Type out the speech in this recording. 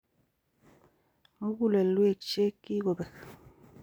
Mugulelwek che ki kobek.